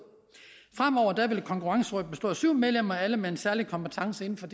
fremover vil konkurrencerådet bestå af syv medlemmer alle med en særlig kompetence inden for